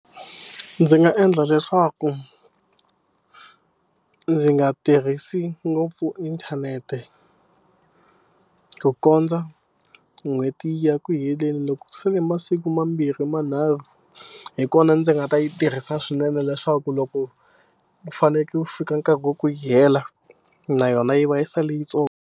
Ndzi nga endla leswaku ndzi nga tirhisi ngopfu inthanete ku kondza n'hweti ya ya ku heleni. Loko ku sele masiku mambirhi manharhu hi kona ndzi nga ta yi tirhisa swinene leswaku loko u fanekele ku fika nkarhi wa ku yi hela, na yona yi va yi sale yintsongo.